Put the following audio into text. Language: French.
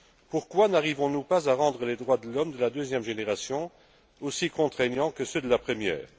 Pourquoi n'arrivons nous pas à rendre les droits de l'homme de la deuxième génération aussi contraignants que ceux de la première?